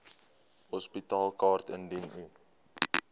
hospitaalkaart indien u